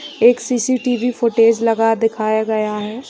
एक CCTV. Footage लगा दिखाया गया है।